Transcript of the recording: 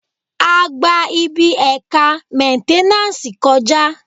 A gba ibi ẹ̀ka mẹ́nténàsì kọ̀já